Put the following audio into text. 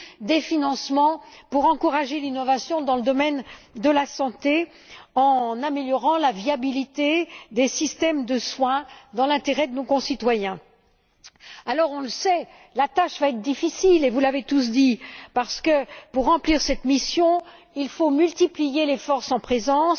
des financements pour encourager l'innovation dans le domaine de la santé, en améliorant la viabilité des systèmes de soins dans l'intérêt de nos concitoyens. Alors, on le sait, la tâche va être difficile et vous l'avez tous dit parce que pour remplir cette mission, il faut multiplier les forces en présence.